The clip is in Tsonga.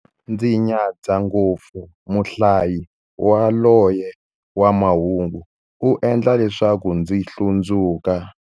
Ndzi nyadza ngopfu muhlayi yaloye wa mahungu, u endla leswaku ndzi hlundzuka.